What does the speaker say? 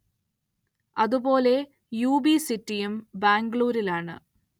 അതു പോലെ യു.ബി. സിറ്റിയും ബാംഗ്ലൂരിലാണ്‌.